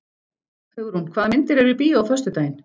Hugrún, hvaða myndir eru í bíó á föstudaginn?